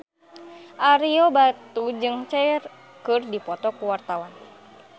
Ario Batu jeung Cher keur dipoto ku wartawan